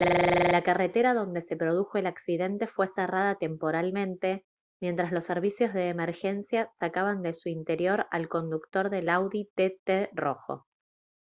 la carretera donde se produjo el accidente fue cerrada temporalmente mientras los servicios de emergencia sacaban de su interior al conductor del audi tt rojo